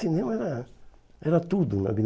Cinema era era tudo na vida.